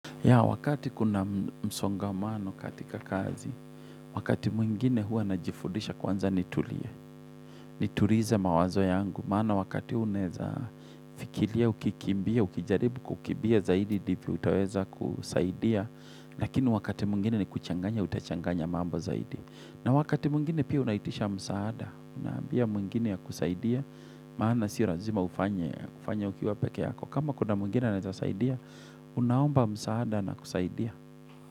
Ya wakati kuna msongamano katika kazi, wakati mwingine huwa najifundisha kwanza nitulie, nitulize mawazo yangu. Maana wakati huo unaeza fikiria, ukikimbia, ukijaribu kukimbia zaidi ndivyo, utaweza kusaidia. Lakini wakati mwingine ni kuchanganya, utachanganya mambo zaidi. Na wakati mwingine pia unaitisha msaada, unaambia mwingine akusaidie, maana si lazima ufanye ukiwa peke yako. Kama kuna mwingine anaeza saidia unaomba msaada anakusaidia.